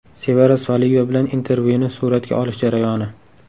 Sevara Soliyeva bilan intervyuni suratga olish jarayoni.